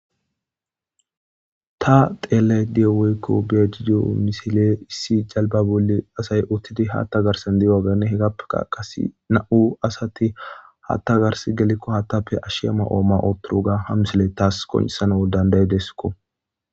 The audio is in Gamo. Ta xeellay diyo woykko be jido misile issi jalba boli asay uttidi haatta garsan di7o wagane hegappe ka qasi na7u asati haatta gars gelekko hattappe ashsheama ooma otturuga ha misile taas koncisan woldandaye desikko.